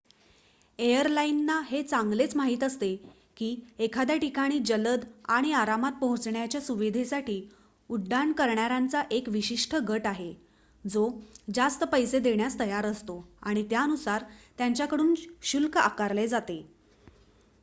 एअरलाइनना हे चांगलेच माहित असते की एखाद्या ठिकाणी जलद आणि आरामात पोहोचण्याच्या सुविधेसाठी उड्डाण करणाऱ्यांचा एक विशिष्ट गट आहे जो जास्त पैसे देण्यास तयार असतो आणि त्यानुसार त्यांच्याकडून शुल्क आकारले जाते